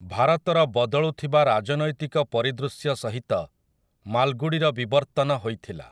ଭାରତର ବଦଳୁଥିବା ରାଜନୈତିକ ପରିଦୃଶ୍ୟ ସହିତ ମାଲ୍‌ଗୁଡ଼ିର ବିବର୍ତ୍ତନ ହୋଇଥିଲା ।